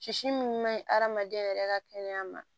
Sisi min man ɲi hadamaden yɛrɛ ka kɛnɛya ma